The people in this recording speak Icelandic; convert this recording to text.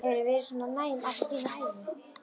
Hefurðu verið svona næm alla þína ævi?